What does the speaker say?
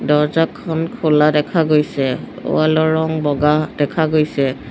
দৰ্জাখন খোলা দেখা গৈছে ৱাল ৰ ৰং বগা দেখা গৈছে।